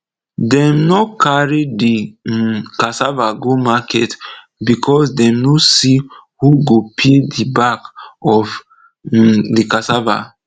dem nor carry de um cassava go market becos dem nor see who go peel de back of um de cassava